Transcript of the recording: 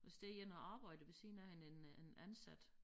Så står der én og arbejder ved siden af hende en øh en ansat